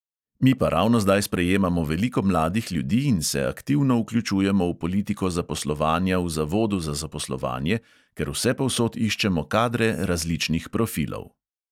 Mi pa ravno zdaj sprejemamo veliko mladih ljudi in se aktivno vključujemo v politiko zaposlovanja v zavodu za zaposlovanje, ker vsepovsod iščemo kadre različnih profilov.